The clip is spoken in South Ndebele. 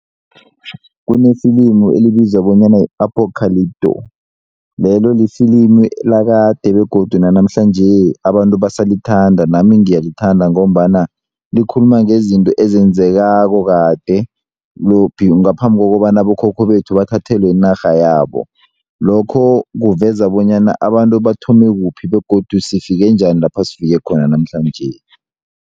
Kunefilimu elibizwa bonyana yi-Apocalypto lelo lifilimu lakade begodu nanamhlanje abantu basalithanda nami ngiyalithanda ngombana likhuluma ngezinto ezenzekako kade ngaphambi kobana abokhokho bethu bathathelwe inarha yabo lokho kuveza bonyana abantu bathome kuphi begodu sifike njani lapha sifike khona namhlanje.